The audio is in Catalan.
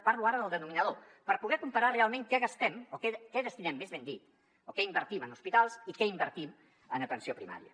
parlo ara del denominador per poder comparar realment què gastem o què destinem més ben dit o què invertim en hospitals i què invertim en atenció primària